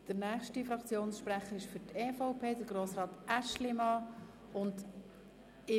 Der nächste Fraktionssprecher ist Grossrat Aeschlimann für die EVP.